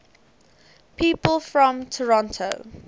people from toronto